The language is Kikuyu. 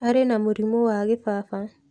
Arĩ na mũrimũ wa gĩbaba.